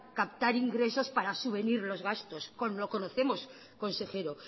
captar ingresos para subvenir los gastos lo conocemos consejero